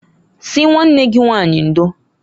Sị nwanne gị nwanyị ndoǃ